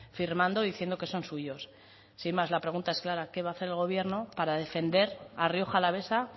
firmando diciendo que son suyos sin más la pregunta es clara qué va a hacer el gobierno para defender a rioja alavesa